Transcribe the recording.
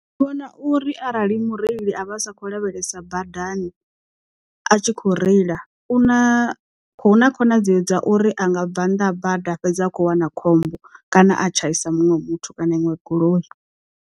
Ndi vhona uri arali mureili a vha a sakhou lavhelesa badani a tshi kho reila u na hu na khonadzeo dza uri anga bva nnḓa ha bada fhedza a kho wana khombo kana a tshaisa muṅwe muthu kana inwe goloi.